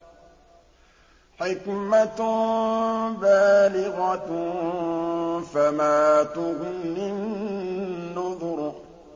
حِكْمَةٌ بَالِغَةٌ ۖ فَمَا تُغْنِ النُّذُرُ